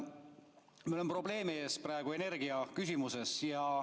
Me oleme probleemi ees praegu energiaküsimuses.